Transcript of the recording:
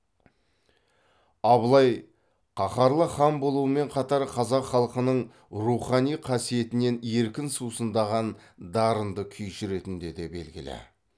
абылай қаһарлы хан болуымен қатар қазақ халқының рухани қасиетінен еркін сусындаған дарынды күйші ретінде де белгілі